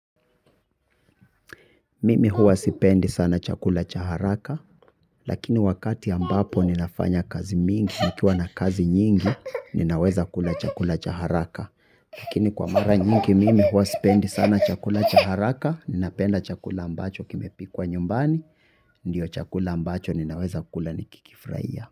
Mimi huwa sipendi sana chakula cha haraka lakini wakati ambapo ninafanya kazi mingi nikiwa na kazi nyingi ninaweza kula chakula cha haraka. Lakini kwa mara nyingi mimi huwa sipendi sana chakula cha haraka ninapenda chakula ambacho kimepikwa nyumbani ndio chakula ambacho ninaweza kula nikikifurahia.